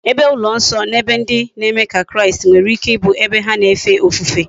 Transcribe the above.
Ebe ulo nso na ebe ndi na eme ka kraist nwere ike ibu ebe ha na efe ofufe